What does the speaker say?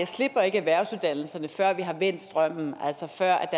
slipper erhvervsuddannelserne før vi har vendt strømmen altså før